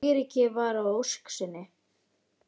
Eiríki varð að ósk sinni.